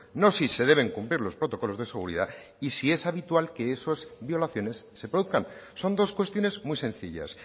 no si se deben cumplir los protocolos de seguridad y si es habitual que esas violaciones se produzcan son dos cuestiones muy sencillas